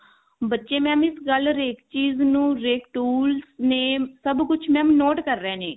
ਬੱਚੇ mam ਇਸ ਗੱਲ ਹਰੇਕ ਚੀਜ਼ ਨੂੰ name ਸਭ ਕੁਛ mam note ਕਰ ਰਹੇ ਨੇ